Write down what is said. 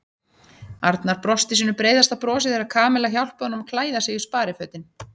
Arnar brosti sínu breiðasta brosi þegar Kamilla hjálpaði honum að klæða sig í sparifötin.